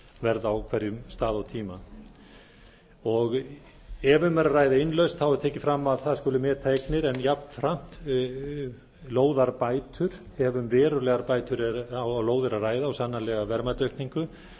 markaðsverð á hverjum stað og tíma ef um er að ræða innlausn er tekið fram að það skuli meta eignir en jafnframt lóðarbætur ef um verulegar bætur á lóð er að ræða og sannanlega verðmætaaukningu